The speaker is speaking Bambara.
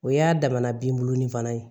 O y'a damana binbulonin fana ye